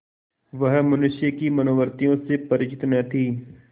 वह मनुष्य की मनोवृत्तियों से परिचित न थी